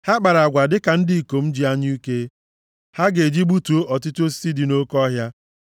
Ha kpara agwa dịka ndị ikom ji anyụike ha ga-eji gbutuo ọtụtụ osisi dị nʼoke ọhịa.